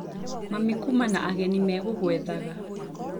Mami kũma na ageni megũgũethaga